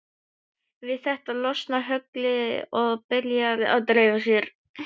Við þetta losna höglin og byrja að dreifa sér.